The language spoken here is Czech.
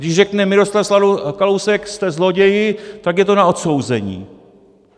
Když řekne Miroslav Kalousek "jste zloději", tak je to na odsouzení.